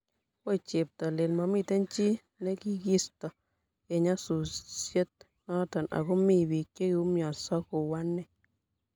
woi cheptailel!mamiten chi negisitoo eng nyasusiet noto, anga mi biik chegiumiansoo ku ane